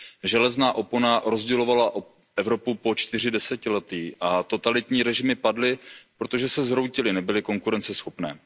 Železná opona rozdělovala Evropu po čtyři desetiletí a totalitní režimy padly, protože se zhroutily, nebyly konkurenceschopné.